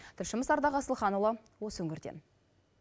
тілшіміз ардақ асылханұлы осы өңірден